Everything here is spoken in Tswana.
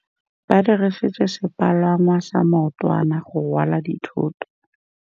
Ba dirisitse sepalangwasa maotwana go rwala dithôtô.